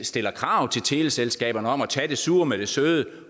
stiller krav til teleselskaberne om at tage det sure med det søde